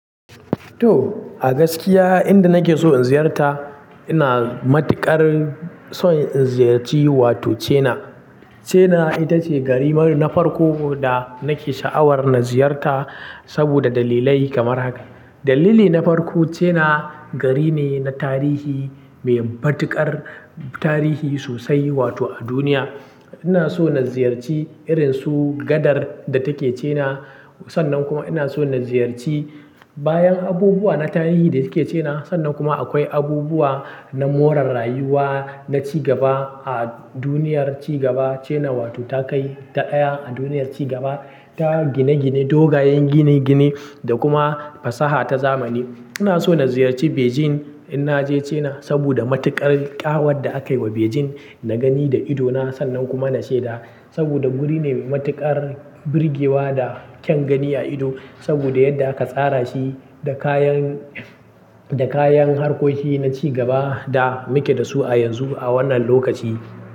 To, a gaskiya inda nake so in ziyarta ina matuƙar son in ziyarci wato China. China ita ce gari mar, na farko da nake sha'awar na ziyarta saboda dalilai kamar haka. Dalili na farko China gari ne na tarihi, mai matuƙar tarihi sosai wato a duniya. Ina so na ziyarci irin su gadar da take China. Sannan kuma ina so na ziyarci, bayan abubuwa na tarihi da suke China. Sannan kuma akwai abubuwa na more rayuwa na ci gaba a duniyar ci gaba China wato ta kai ta ɗaya a duniyar ci gaba. Ta gine-gine, dogayen gine-gine da kuma fasaha ta zamani. Ina so na ziyarci Beijing, in naje China saboda matuƙar ƙawar da aka yi wa Beijing. Na gani da idona sannan kuma na shaida, saboda guri ne mai matuƙar birgewa da kyan gani a ido saboda yadda aka tsara shi da kayan, da kayan harkoki na ci gaba da muke da su a yanzu a wannan lokaci.